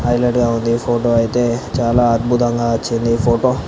హైలైట్గా ఉంది ఫోటో ఐతే చానా అద్భుతంగా వచ్చింది ఈ ఫోటో --